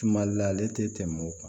Tumali la ale tɛ tɛmɛ o kan